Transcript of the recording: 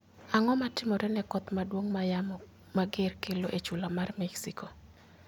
Ang'o matimore ne koth maduong' ma yamo mager kelo e chula mar Mexico?